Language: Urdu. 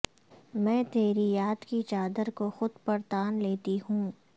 میں تیری یاد کی چادر کو خود پر تان لیتی ہوں